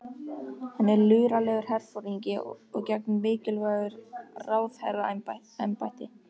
Hann er luralegur herforingi og gegnir mikilvægu ráðherraembætti.